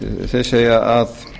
þeir segja að